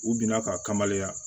U binna k'a kamalenya